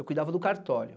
Eu cuidava do cartório.